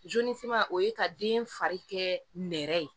o ye ka den fari kɛ nɛrɛ ye